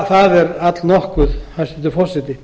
það er alllangur tími hæstvirtur forseti